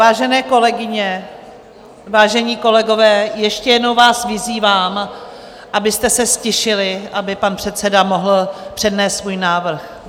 Vážené kolegyně, vážení kolegové, ještě jednou vás vyzývám, abyste se ztišili, aby pan předseda mohl přednést svůj návrh.